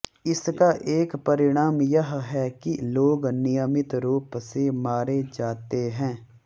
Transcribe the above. इसका एक परिणाम यह है कि लोग नियमित रूप से मारे जाते हैं